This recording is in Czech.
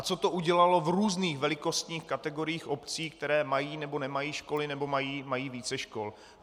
A co to udělalo v různých velikostních kategoriích obcí, které mají nebo nemají školy nebo mají více škol.